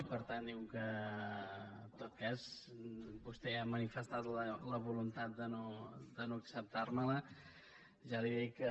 i per tant com que en tot cas vostè ja ha manifestat la voluntat de no acceptar me la ja li dic que